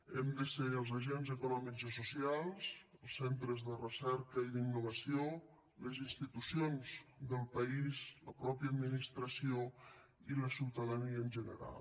hem de ser els agents econòmics i socials els centres de recerca i d’innovació les institucions del país la mateixa administració i la ciutadania en general